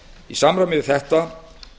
í samræmi við þetta